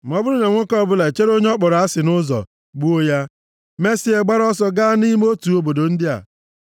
Ma ọ bụrụ na nwoke ọbụla echere onye ọ kpọrọ asị nʼụzọ, gbuo ya, mesịa gbara ọsọ gaa nʼime otu obodo ndị a,